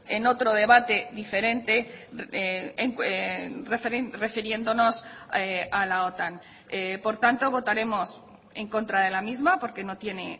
en otro debate diferente refiriéndonos a la otan por tanto votaremos en contra de la misma porque no tiene